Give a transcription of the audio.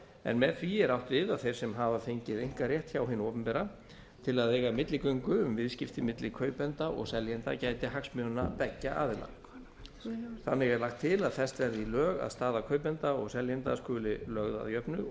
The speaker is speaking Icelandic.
en með því er átt við að þeir sem hafa fengið einkarétt hjá hinu opinbera til að eiga milligöngu um viðskipti milli kaupenda og seljenda gæti hagsmuna beggja aðila þannig er lagt til að fest verði í lög að staða kaupenda og seljenda skuli lögð að jöfnu og